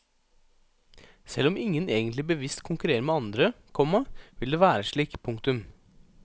Selv om ingen egentlig bevisst konkurrerer med andre, komma vil det være slik. punktum